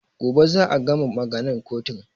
Gobe za a gama maganan kotun